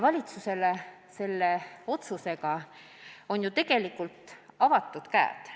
Valitsusele oleks selle otsusega ju antud vabad käed.